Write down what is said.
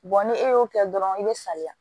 ni e y'o kɛ dɔrɔn i be saliya